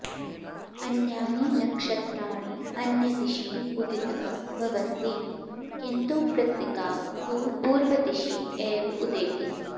अन्यानि नक्षत्राणि अन्यदिशि उदिताः भवन्ति किन्तु कृत्तिका तु पूर्वदिशि एव उदेति